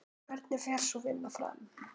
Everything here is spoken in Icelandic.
Hvernig fer sú vinna fram?